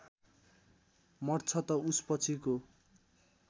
मर्छ त उसपछिको